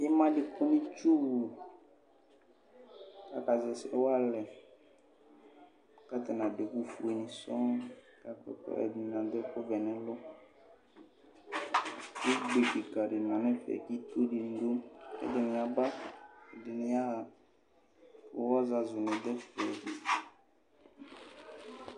ima di kɔnʋ itsʋ wʋ kʋ aka zɛ ɛsɛ walɛ kʋ atani adʋ ɛkʋ ƒʋɛ, kʋ ɛdini adʋ ɛkʋ vɛ nʋ ɛlʋ, ʋgbè kikaa di manʋ ɛƒɛ, itsʋ didʋ ɛdiɛ yaba, ɛdini yaha kʋ ɔzazʋ ni dʋ ɛƒɛ